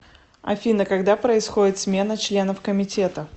афина когда происходит смена членов комитета